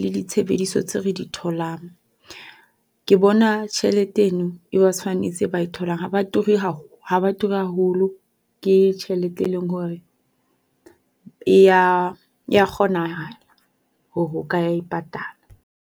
le disebediso tse re di tholang. Ke bona tjhelete eno e ba tshwanetse ba e tholang ha ba turi ha ba turi haholo. ke tjhelete e leng hore e ya e ya kgonahala hore o ka e patala.